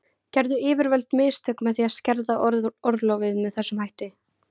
Gerðu yfirvöld mistök með því að skerða orlofið með þessum hætti?